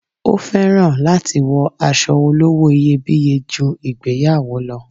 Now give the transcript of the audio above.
O féràn láti wọ aṣọ olówó iyebíye ju ìgbéyàwó lo